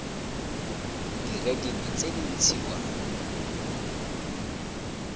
dire dingwe tse di ntshiwang